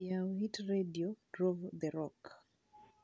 yaw iheartredio rove the rock